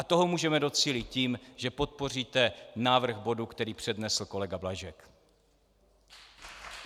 A toho můžeme docílit tím, že podpoříte návrh bodu, který přednesl kolega Blažek.